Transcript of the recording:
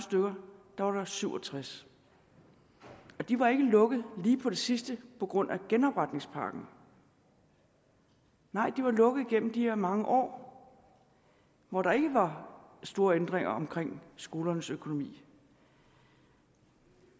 var der syv og tres og de var ikke lukket lige på det sidste på grund af genopretningspakken nej det var lukket igennem de her mange år hvor der ikke var store ændringer omkring skolernes økonomi